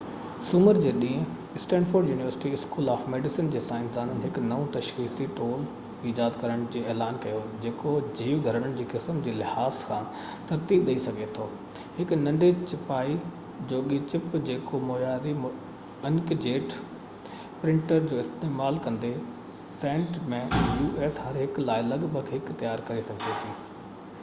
سومر جي ڏينهن Stanford university school of medicine جي سائنسدانن هڪ نئون تشخيصي ٽول ايجاد ڪرڻ جو اعلان ڪيو جيڪو جيو گهرڙن جي قسمن جي لحاظ سان ترتيب ڏيئي سگهي ٿو هڪ ننڍي ڇپائيءِ جوڳي چپ جيڪو معياري انڪ جيٽ پرنٽرز جو استعمال ڪندي هر هڪ لاءِ لڳ ڀڳ هڪ u.s. سينٽ ۾ تيار ڪري سگهجي ٿي